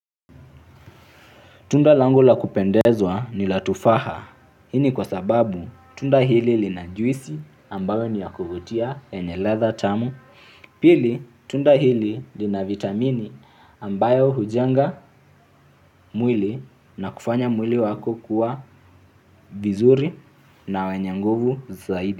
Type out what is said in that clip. Tunda langu la kupendezwa ni la tufaha, hii ni kwa sababu tunda hili lina juisi ambayo ni ya kuvutia yenye ladha tamu, pili tunda hili lina vitamini ambayo hujenga mwili na kufanya mwili wako kuwa vizuri na wenye nguvu zaidi.